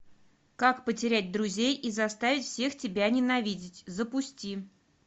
как потерять друзей и заставить всех тебя ненавидеть запусти